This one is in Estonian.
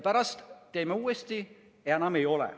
Pärast tehti uuesti ja enam ei olnud.